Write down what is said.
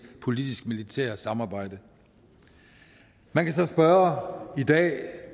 politisk militære samarbejde man kan så spørge i dag